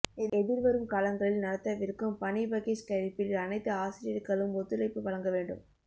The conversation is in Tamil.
எதிர்வரும் காலங்களில் நடத்தவிருக்கும் பணிபகிஸ்கரிப்பில் அனைத்து ஆசிரியர்களும் ஒத்துழைப்பு வழங்க வேண்டும்